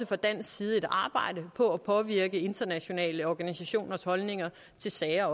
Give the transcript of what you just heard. fra dansk side et arbejde for at påvirke internationale organisationers holdninger til sager